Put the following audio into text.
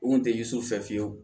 U kun tɛ yisu fɛ fiyewu